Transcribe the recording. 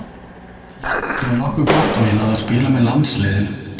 Tímabilið var nokkuð gott og ég náði að spila með landsliðinu.